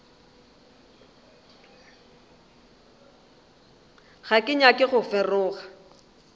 ga ke nyake go feroga